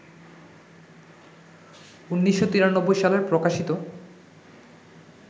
১৯৯৩ সালের প্রকাশিত